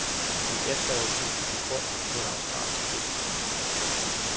I efteråret gik den på grund på et australsk klippeskær.